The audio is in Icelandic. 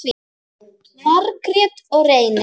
Margrét og Reynir.